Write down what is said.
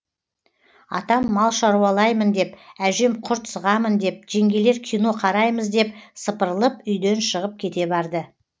атам мал шаруалаймын деп әжем құрт сығамын деп жеңгелер кино қараймыз деп сыпырылып үйден шығып кете барды